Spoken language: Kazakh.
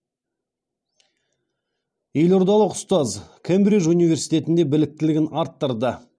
елордалық ұстаз кембридж университетінде біліктілігін арттырды